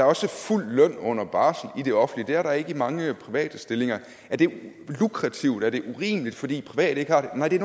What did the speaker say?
også fuld løn under barsel i det offentlige det er der ikke i mange private stillinger er det lukrativt er det urimeligt fordi private ikke har det nej det